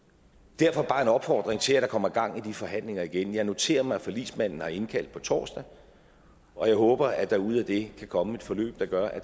derfor har en opfordring til at der kommer gang i de forhandlinger igen jeg noterer mig at forligsmanden har indkaldt til på torsdag og jeg håber at der ud af det kan komme et forløb der gør at